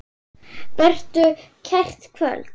Vertu kært kvödd.